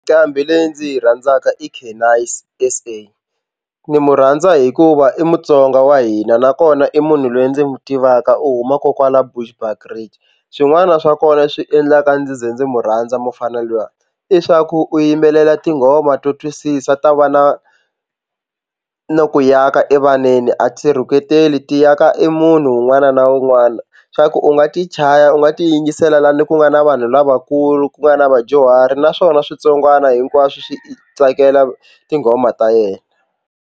Nqambi leyi ndzi yi rhandzaka i Canicee S_A ndzi mu rhandza hikuva i mutsonga wa hina nakona i munhu loyi ndzi n'wi tivaka u huma kokwala Bushbridge swin'wana swa kona swi endlaka ndzi ze ndzi mu rhandza mufana na luya i swa ku u yimbelela tinghoma to twisisa ta va na no ku aka evaneni a ti rhuketeli ti aka i munhu un'wana na un'wana swa ku u nga ti chaya u nga ti yingisela laha ni ku nga na vanhu lavakulu ku nga na vadyuhari naswona switsongwana hinkwaswo swi tsakela tinghoma ta yena.